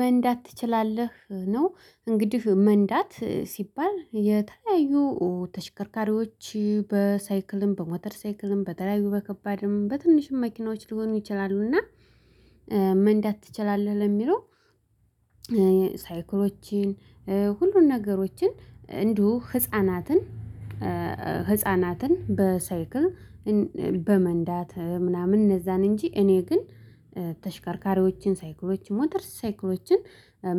መንዳት ትችላለህ ነው እንግዲህ መንዳት ሲባል የተለያዩ ተሽከርካሪዎች በሳይክልም በሞተር ሳይክልም በተለያዩ በከባድም በትንሽም መኪናዎች ሊሆኑ ይችላሉ። እና መንዳት ትችላለህ ለሚለው። ሳይክሎችን ሁሉን ነገሮችን እንዲሁ ህፃናትን ህፃናትን በሳይክል በመንዳት ምናምን እነዛን እንጂ እኔ ግን ተሽከርካሪዎችን ሳይክሎችን ሞተር ሳይክሎችን